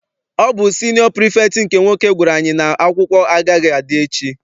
Ọ bụ siniọ pirifektị nke nwoke gwara anyị n'akwụkwọ agaghị adị echi.